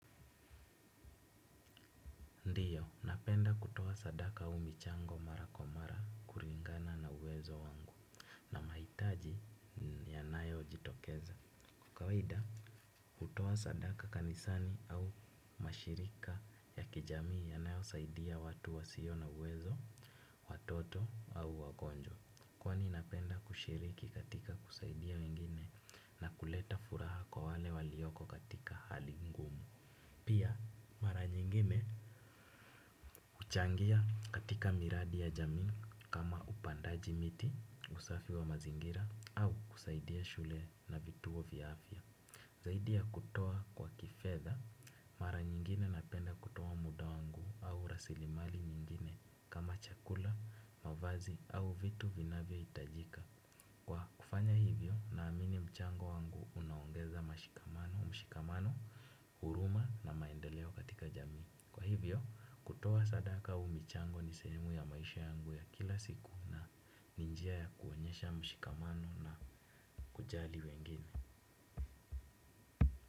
Ndiyo, napenda kutoa sadaka au michango mara kwa mara kuringana na uwezo wangu. Na mahitaji yanayojitokeza kwa kawaida, hutoa sadaka kanisani au mashirika ya kijamii yanayosaidia watu wasio na uwezo, watoto au wagonjwa. Kwani napenda kushiriki katika kusaidia wengine na kuleta furaha kwa wale walioko katika hali ngumu. Pia mara nyingine huchangia katika miradi ya jamii kama upandaji miti usafi wa mazingira au kusaidia shule na vituo vya afya. Zaidi ya kutoa kwa kifedha mara nyingine napenda kutoa muda wangu au rasilimali nyingine kama chakula, mavazi au vitu vinavyohitajika. Kwa kufanya hivyo naamini mchango wangu unaongeza mashikamano, mshikamano, huruma na maendeleo katika jamii. Kwa hivyo, kutoa sadaka au michango ni sehemu ya maisha yangu ya kila siku. Ni njia ya kuonyesha mshikamano na kujali wengine.